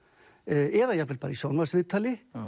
eða jafnvel bara í sjónvarpsviðtali